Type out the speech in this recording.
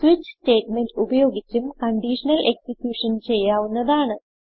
switch statement ഉപയോഗിച്ചും conditional execution ചെയ്യാവുന്നതാണ്